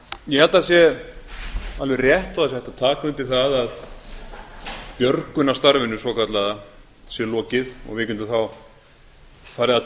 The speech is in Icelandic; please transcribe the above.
ég held að það sé alveg rétt og það sé hægt að taka undir það að björgunarstarfinu svokallaða sé lokið og við getum þá farið að